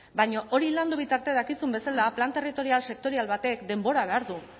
baina hori landu bitartean dakizun bezala plan territorial sektorial batek denbora behar du